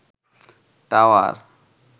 tower